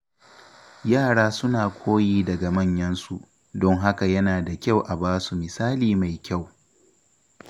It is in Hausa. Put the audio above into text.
Yara suna koyi daga manyansu, don haka yana da kyau a basu misali mai kyau.